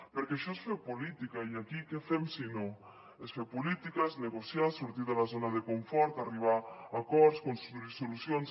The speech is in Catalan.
perquè això és fer política i aquí què fem si no és fer política és negociar és sortir de la zona de confort arribar a acords construir solucions